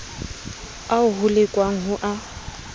ao ho lekwang ho a